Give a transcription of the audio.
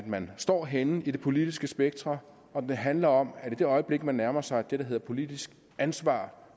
man står henne i det politiske spektrum og den handler om at i det øjeblik man nærmer sig det der hedder politisk ansvar